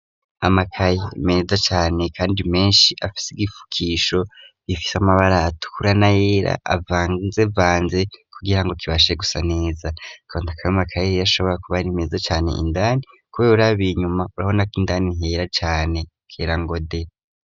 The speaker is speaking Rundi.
amakayi meneza cyane kandi menshi afise igifukisho bifise amabara atkurana yera avanze vanze kugira ngo kibashe gusa neza konta akabe makayeriye ashobora kuba rimeza cyane indani kubeburabir nyuma urabona ko indani nkera cyane kerangode